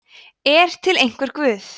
er til einhver guð